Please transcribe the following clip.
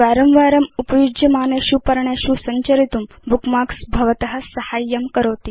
वारं वारम् उपयुज्यमानेषु पर्णेषु संचरितुं बुकमार्क्स् भवत साहाय्यं करोति